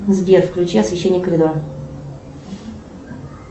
сбер включи освещение коридора